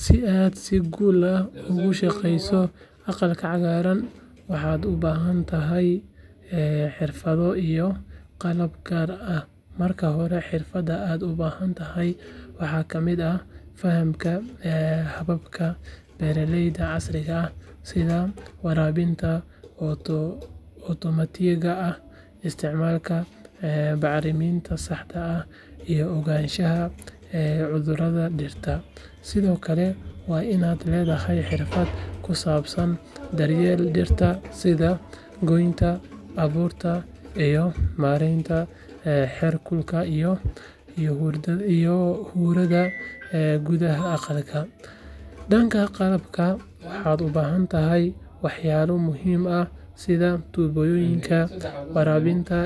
Si aa si gul ah ugu shaqeyso aqlka cagaran maxaad u bahantahay xirfado iyo qalab gar ah marka hore xirfaada ahanta leh waxaa kamiid ah fahamka ababka bera leyda casriga ah sitha warabinta otomatiyaga ah iatimaalka baxriminta saxda ah iyo ogashaha ee cudhuraada dirada dirta, sithokale waa in aa ledoho xirfaad kusabsan daryeel dirta, danka qalabka waxaa u bahantahay wax yalo muhiim ah sitha tuboyoyinka warabinta